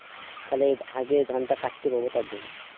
খানিক আগে ধনটা কাটতে পাবো তার জন্য